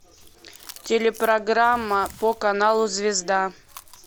телепрограмма по каналу звезда